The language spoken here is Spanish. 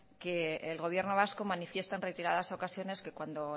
que el gobierno vasco manifiesta en reiteradas ocasiones que cuando